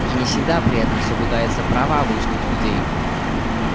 и не всегда при этом соблюдаются права обычных людей